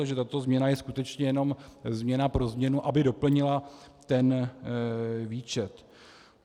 Takže tato změna je skutečně jenom změna pro změnu, aby doplnila ten výčet.